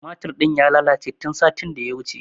Tumatur ɗin ya lalace tun satin da ya wuce.